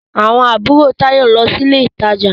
Àwọn àbúrò Táyọ̀ ń lọ sí ilé ìtajà.